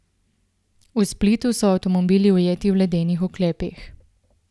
V Splitu so avtomobili ujeti v ledenih oklepih.